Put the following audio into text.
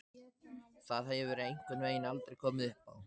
Það hefur einhvern veginn aldrei komið uppá.